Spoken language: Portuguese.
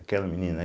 Aquela menina.